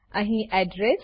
અહી એડ્રેસ